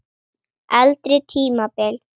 Eldri tímabil